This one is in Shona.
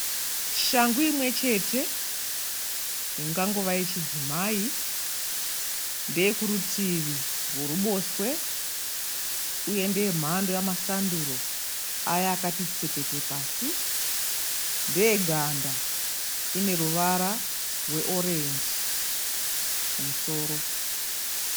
Shangu imwe chete ingangova yechidzimai. Ndeye kurutivi roruboshwe uye ndeye mhando yemasanduro aya akati tsepete pasi. Ndeye ganda ine ruvara rweorenji kumusoro.